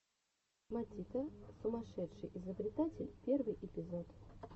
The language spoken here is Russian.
матита сумасшедший изобретатель первый эпизод